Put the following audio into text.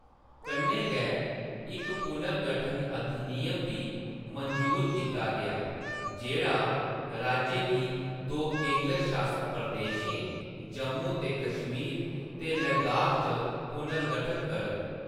कन्नै गै, इक पुनर्गठन अधिनियम बी मंजूर कीता गेआ, जेह्‌‌ड़ा राज्य गी दो केंदर शासत प्रदेशें, जम्मू ते कश्मीर ते लद्दाख च पुनर्गठत करग।